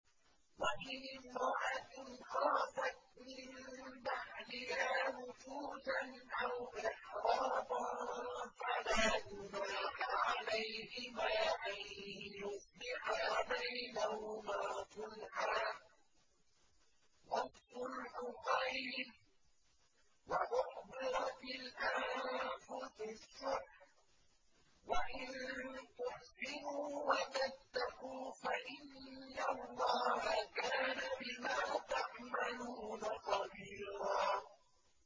وَإِنِ امْرَأَةٌ خَافَتْ مِن بَعْلِهَا نُشُوزًا أَوْ إِعْرَاضًا فَلَا جُنَاحَ عَلَيْهِمَا أَن يُصْلِحَا بَيْنَهُمَا صُلْحًا ۚ وَالصُّلْحُ خَيْرٌ ۗ وَأُحْضِرَتِ الْأَنفُسُ الشُّحَّ ۚ وَإِن تُحْسِنُوا وَتَتَّقُوا فَإِنَّ اللَّهَ كَانَ بِمَا تَعْمَلُونَ خَبِيرًا